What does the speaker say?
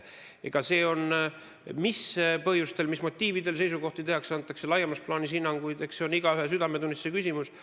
Eks see, mis põhjustel, mis motiividel seisukohti esitatakse ja antakse laiemas plaanis hinnanguid, ole igaühe südametunnistuse küsimus.